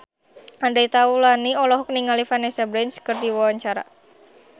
Andre Taulany olohok ningali Vanessa Branch keur diwawancara